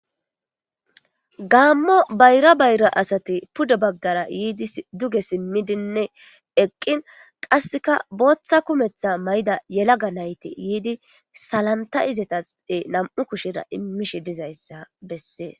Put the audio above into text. Gaammo bayra bayra asati puddo baggara yiidi duge simmidinne eqqin qasseka booththa kumetha mayda yelaga nayte yiidi salanta izetase nam7u kushera immishe dizayssa bessees